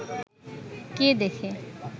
কে দেখে